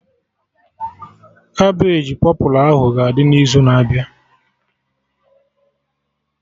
Cabbage pọpụlụ ahụ ga-adị n'izu na-abịa